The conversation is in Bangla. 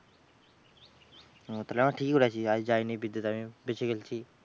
তাহলে আমরা ঠিকই করেছি যাইনি বিদ্যুত আমি বেঁচে গেইলছি।